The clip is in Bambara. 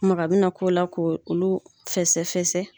Maga bɛna k'o la ko olu fɛsɛ- fɛsɛ.